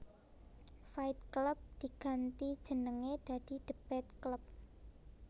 Fight Club diganti jenenge dadi Debate Club